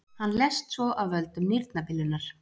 Hann lést svo af völdum nýrnabilunar.